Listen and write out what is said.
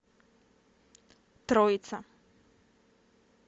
троица